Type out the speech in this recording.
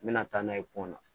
N bɛna taa n'a ye pon na